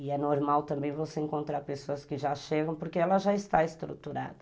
E é normal também você encontrar pessoas que já chegam porque ela já está estruturada.